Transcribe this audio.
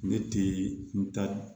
Ne tɛ n ta